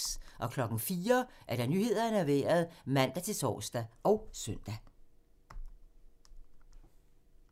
04:00: Nyhederne og Vejret (man-tor og søn)